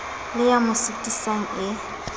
le ya mo sitisang e